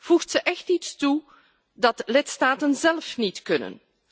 Voegt ze echt iets toe dat lidstaten zelf niet kunnen?